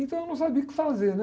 Então eu não sabia o que fazer, né?